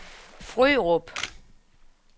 Frørup